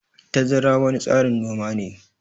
Tazara wani tsarin noma ne.